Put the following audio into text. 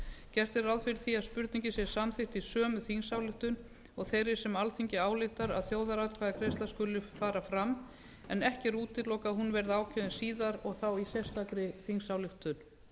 gert er ráð fyrir því að spurningin sé samþykkt í sömu þingsályktun og þeirri sem alþingi ályktar að þjóðaratkvæðagreiðsla skuli fara fram en ekki er útilokað að hún verði ákveðin síðar og þá í sérstakri þingsályktun